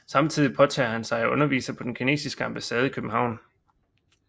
Samtidig påtager han sig at undervise på den kinesiske ambassade i København